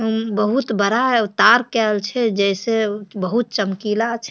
उम्म बहुत बड़ा तार कायल छै जेई से बहुत चमकीला छै।